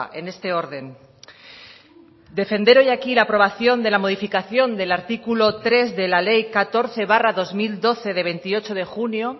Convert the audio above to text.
en este orden defender hoy aquí la aprobación de la modificación del artículo tres de la ley catorce barra dos mil doce de veintiocho de junio